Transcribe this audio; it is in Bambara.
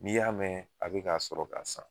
N'i y'a mɛn a bɛ k'a sɔrɔ k'a san.